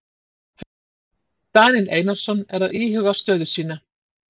Haukar: Daníel Einarsson er að íhuga stöðu sína.